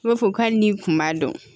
I b'a fɔ ko hali n'i kun b'a dɔn